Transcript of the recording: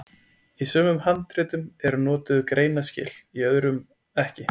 Í sumum handritum eru notuð greinaskil, í öðrum ekki.